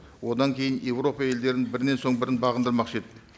одан кейін еуропа елдерін бірінен соң бірін бағындырмақшы еді